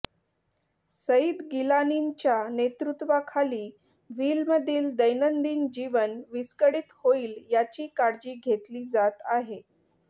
सईद गिलानींच्या नेतृत्वाखाली व्हॅलीमधील दैनंदिन जीवन विस्कळीत होईल याची काळजी घेतली जात आहे